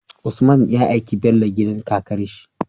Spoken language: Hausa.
Usman ya aiki Bello gidan kakarshi